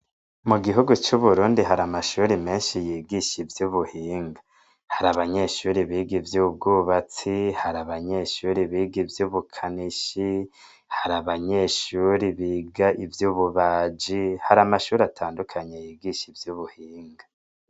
Mu gihugu c'Uburundi hari amashuri meshi yigisha ivyubuhinga hari abanyeshuri biga ivyubwubatsi hari abanyeshuri biga ivyubukanishi hari abanyeshuri biga ivyubabaji hari amashuri atandukanye yigisha ivyubuhinga.